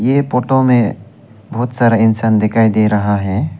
ये फोटो में बहोत सारा इंसान दिखाई दे रहा है।